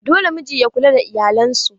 Dole miji ya kula da iyalan su.